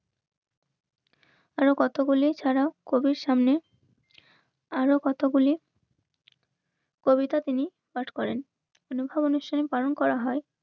আরো কতগুলি খারাপ কবির সামনে আরো কথা বলি কবিতা তিনি পাঠ করেন কোনো অনুষ্ঠানে পালন করা হয়